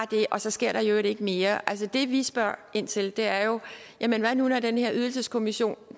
det og så sker der i øvrigt ikke mere altså det vi spørger ind til er jo jamen hvad nu når den her ydelseskommission